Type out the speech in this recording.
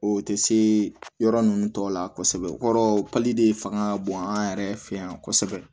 O tɛ se yɔrɔ ninnu tɔ la kosɛbɛ o kɔrɔ de fanga ka bon an yɛrɛ fɛ yan kosɛbɛ